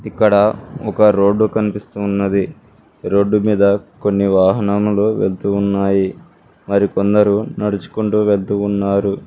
ఇక్కడ ఒక రోడ్డు కనిపిస్తున్నది రోడ్డుమీద కొన్ని వాహనానములు వెళుతున్నాయి మరికొందరు నడుచుకుంటూ వెళ్తున్నారు.